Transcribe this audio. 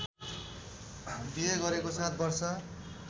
बिहे गरेको ७ वर्ष